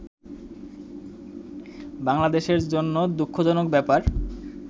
বাংলাদেশের জন্য দুঃখজনক ব্যাপার